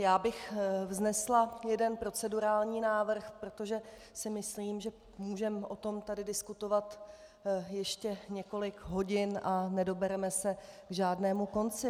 Já bych vznesla jeden procedurální návrh, protože si myslím, že můžeme o tom tady diskutovat ještě několik hodin a nedobereme se k žádnému konci.